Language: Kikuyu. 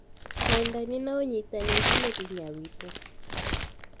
wendani na ũnyitanĩri nĩ hinya witũ